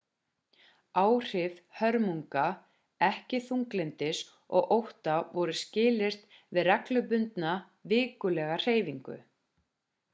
áhrif hörmunga ekki þunglyndis og ótta voru skilyrt við reglubundna vikulega hreyfingu